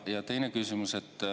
Ja teine küsimus.